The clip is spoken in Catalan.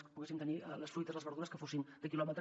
que hi poguéssim tenir les fruites les verdures que fossin de quilòmetre